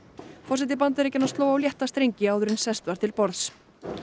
forseti Bandaríkjanna sló á létta strengi áður en sest var til borðs